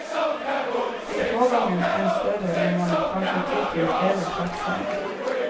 Blir pågangen enda større, må man kanskje ty til flere klappsenger.